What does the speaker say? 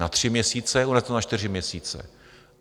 Na tři měsíce, u nás na čtyři měsíce.